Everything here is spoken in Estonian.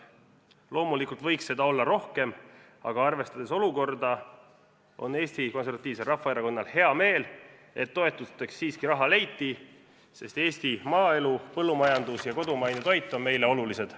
Loomulikult võiks seda rohkem olla, aga arvestades olukorda, on Eesti Konservatiivsel Rahvaerakonnal hea meel, et toetusteks siiski raha leiti, sest Eesti maaelu, põllumajandus ja kodumaine toit on meile olulised.